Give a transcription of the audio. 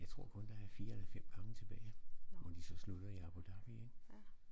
Jeg tror kun der er 4 eller 5 gange tilbage hvor de så slutter i Abu Dhabi ik